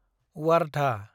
Wardha